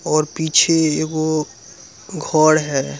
-- और पीछे एगो घर है ।